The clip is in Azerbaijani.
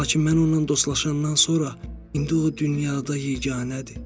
Lakin mən onunla dostlaşandan sonra, indi o dünyada yeganədir.